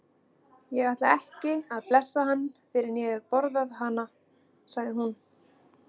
Ég ætla ekki að blessa hann fyrr en ég hef borðað hana, sagði hún.